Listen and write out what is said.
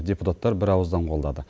депутаттар бірауыздан қолдады